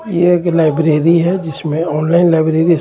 ये एक लाइब्रेरी हे जिसमे ऑनलाइन लाइब्रेरी जिसमे --